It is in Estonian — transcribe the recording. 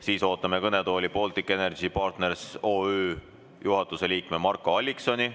Siis ootame kõnetooli Baltic Energy Partners OÜ juhatuse liiget Marko Alliksoni.